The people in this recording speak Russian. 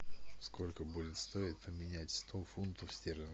сколько будет стоить поменять сто фунтов стерлингов